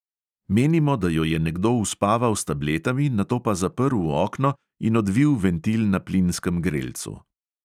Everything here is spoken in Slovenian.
Menimo, da jo je nekdo uspaval s tabletami, nato pa zaprl okno in odvil ventil na plinskem grelcu.